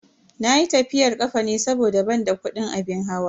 Nayi tafiyar kafa ne saboda ban da kudin abin hawa.